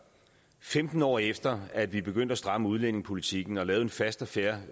femten år efter at vi begyndte at stramme udlændingepolitikken og lavede en fast og fair